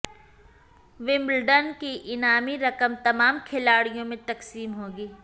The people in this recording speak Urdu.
ومبلڈن کی انعامی رقم تمام کھلاڑیوں میں تقسیم ہوگی